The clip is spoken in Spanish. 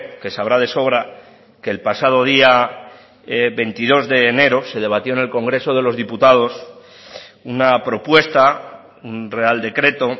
que sabrá de sobra que el pasado día veintidós de enero se debatió en el congreso de los diputados una propuesta un real decreto